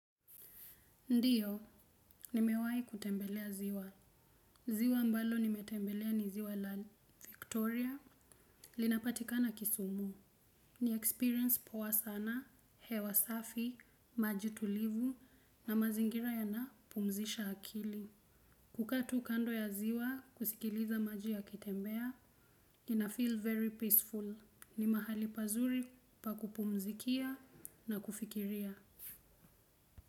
Ndiyo, nimewai kutembelea ziwa. Ziwa ambalo nimetembelea ni ziwa la Victoria. Linapatikana kisumu. Ni experience poa sana, hewa safi, maji tulivu na mazingira yanapumzisha akili. Kukaa tu kando ya ziwa kusikiliza maji yakitembea, inafeel very peaceful. Ni mahali pazuri pa kupumzikia na kufikiria.